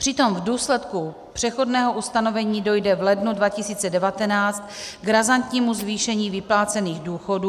Přitom v důsledku přechodného ustanovení dojde v lednu 2019 k razantnímu zvýšení vyplácených důchodů.